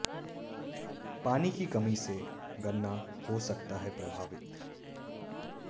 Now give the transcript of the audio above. पानी की कमी से गन्ना हो सकता है प्रभावित